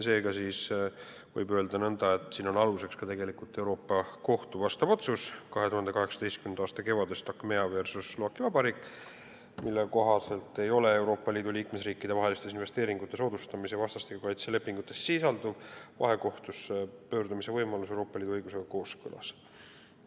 Seega võib öelda nõnda, et siin on aluseks ka Euroopa Kohtu 2018. aasta kevadel tehtud otsus – Achmea versus Slovaki Vabariik –, mille kohaselt ei ole Euroopa Liidu liikmesriikide vahelistes investeeringute soodustamise ja vastastikuse kaitse lepingutes sisalduv vahekohtusse pöördumise võimalus Euroopa Liidu õigusega kooskõlas.